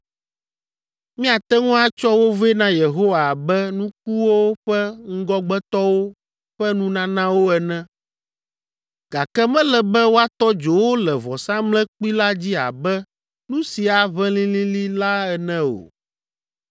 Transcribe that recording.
Miate ŋu atsɔ wo vɛ na Yehowa abe nukuwo ƒe ŋgɔgbetɔwo ƒe nunanawo ene, gake mele be woatɔ dzo wo le vɔsamlekpui la dzi abe nu si aʋẽ lĩlĩlĩ la ene o.